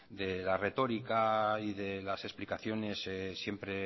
de la retórica y de las explicaciones siempre